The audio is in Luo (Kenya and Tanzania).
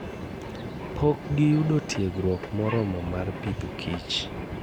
Pok giyudo tiegruok moromo mar pidho kich.